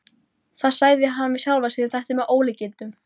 Það sagði hann við sjálfan sig: Þetta er með ólíkindum.